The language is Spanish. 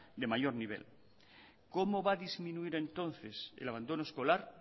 de mayor nivel cómo va a disminuir entonces el abandono escolar